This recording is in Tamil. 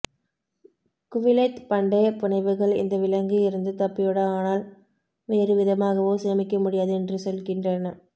குவிலெத் பண்டைய புனைவுகள் இந்த விலங்கு இருந்து தப்பியோட ஆனால் வேறு விதமாகவோ சேமிக்க முடியாது என்று சொல்கின்றன